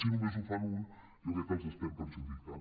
si només ho fan uns jo crec que els estem perjudicant